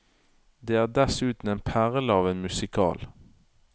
Det er dessuten en perle av en musical.